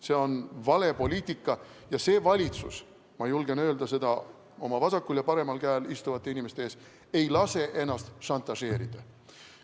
See on vale poliitika ja see valitsus, ma julgen öelda seda oma vasakul ja paremal käel istuvate inimeste ees, ei lase ennast šantažeerida.